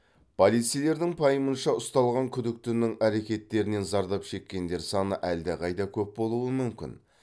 полицейлердің пайымынша ұсталған күдіктінің әрекеттерінен зардап шеккендер саны әлдеқайда көп болуы мүмкін